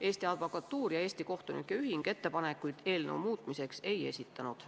Eesti Advokatuur ja Eesti Kohtunike Ühing ettepanekuid eelnõu muutmiseks ei esitanud.